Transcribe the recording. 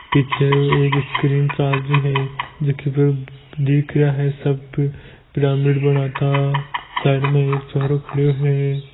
पीछे एक स्क्रीन चाल री है जो वह दिख रहा हैसब पिरामिंड सा बनाता साइड में एक छोरो खड़ो है।